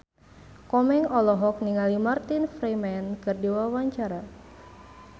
Komeng olohok ningali Martin Freeman keur diwawancara